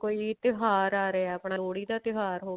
ਕੋਈ ਵੀ ਤਿਉਹਾਰ ਆ ਰਿਹਾ ਆਪਣਾ ਲੋਹੜੀ ਦਾ ਤਿਉਹਾਰ